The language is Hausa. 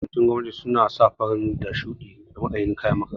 Yawancin makarantun gwamnati suna sa fari da shuɗi matsayin kayan makaranta